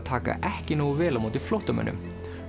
taka ekki nógu vel á móti flóttamönnum